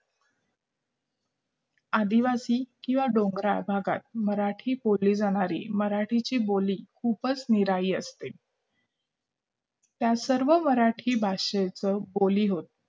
आदिवासी किंवा डोंगराळ भागात मराठी बोलली जाणारी मराठीची बोली खूपच निराळी असत त्या सर्व मराठी भाषेचं बोली होत